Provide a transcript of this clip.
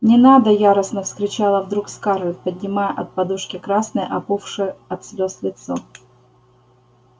не надо яростно вскричала вдруг скарлетт поднимая от подушки красное опухшее от слез лицо